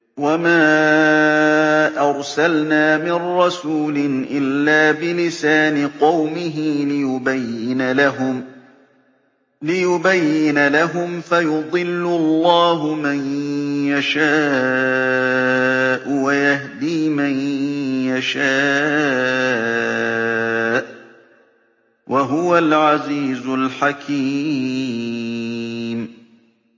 وَمَا أَرْسَلْنَا مِن رَّسُولٍ إِلَّا بِلِسَانِ قَوْمِهِ لِيُبَيِّنَ لَهُمْ ۖ فَيُضِلُّ اللَّهُ مَن يَشَاءُ وَيَهْدِي مَن يَشَاءُ ۚ وَهُوَ الْعَزِيزُ الْحَكِيمُ